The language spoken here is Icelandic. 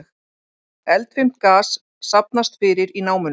Eldfimt gas safnast fyrir í námunni